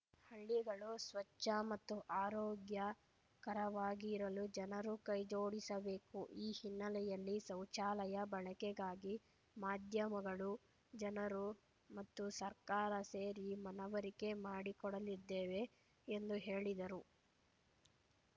ಹಳ್ಳಿಗಳು ಸ್ವಚ್ಛ ಮತ್ತು ಆರೋಗ್ಯಕರವಾಗಿರಲು ಜನರು ಕೈಜೋಡಿಸಬೇಕು ಈ ಹಿನ್ನೆಲೆಯಲ್ಲಿ ಶೌಚಾಲಯ ಬಳಕೆಗಾಗಿ ಮಾಧ್ಯಮಗಳು ಜನರು ಮತ್ತು ಸರ್ಕಾರ ಸೇರಿ ಮನವರಿಕೆ ಮಾಡಿಕೊಡಲಿದ್ದೇವೆ ಎಂದು ಹೇಳಿದರು